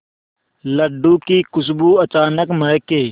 लड्डू की खुशबू अचानक महके